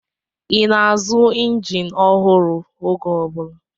Ị na-azụ injin ọhụrụ oge ọ bụla?